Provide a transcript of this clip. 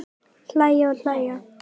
Hlæja og hlæja.